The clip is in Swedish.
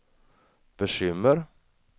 bekymmer